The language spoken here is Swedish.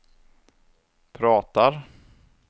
pratar